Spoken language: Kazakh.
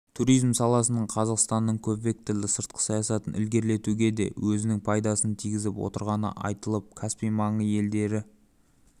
туризм саласының қазақстанның көпвекторлы сыртқы саясатын ілгерілетуге де өзінің пайдасын тигізіп отырғаны айтылып каспий маңы елдері